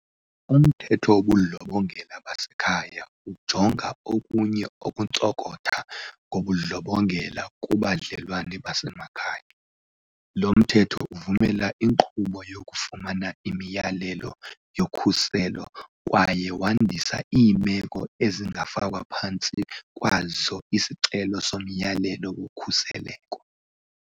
UMthetho wobuNdlobongela baseKhaya ujonga okunye ukuntsokotha kobundlobongela kubudlelwane basemakhaya. Lo Mthetho uvumela inkqubo yokufumana imiyalelo yokhuseleko kwaye wandisa iimeko esingafakwa phantsi kwazo isicelo somyalelo wokhuseleko.